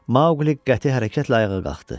Maoqli qəti hərəkətlə ayağa qalxdı.